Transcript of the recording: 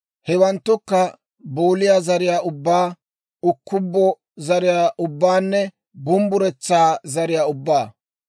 Hewanttukka, booliyaa zariyaa ubbaa, ukkubbo zariyaa ubbaanne bumbburetsaa zariyaa ubbaa.